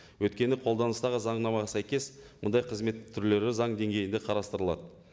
өйткені қолданыстағы заңнамаға сәйкес мұндай қызмет түрлері заң деңгейінде қарастырылады